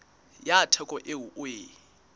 ya theko eo o e